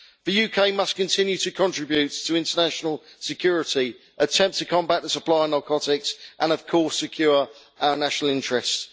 The UK must continue to contribute to international security, attempt to combat the supply of narcotics and of course secure our national interests.